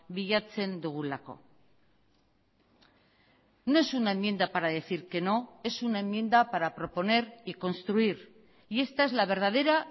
bilatzen dugulako no es una enmienda para decir que no es una enmienda para proponer y construir y esta es la verdadera